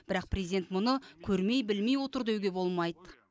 бірақ президент мұны көрмей білмей отыр деуге болмайды